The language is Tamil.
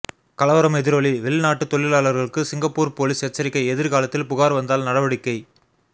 கலவரம் எதிரொலி வெளிநாட்டு தொழிலாளர்களுக்கு சிங்கப்பூர் போலீஸ் எச்சரிக்கை எதிர்காலத்தில் புகார் வந்தால் நடவடிக்கை